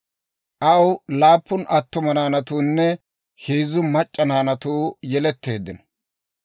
Aw laappun attuma naanatuunne heezzu mac'c'a naanatuu yeletteeddino.